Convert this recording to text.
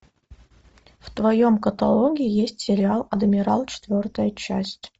в твоем каталоге есть сериал адмирал четвертая часть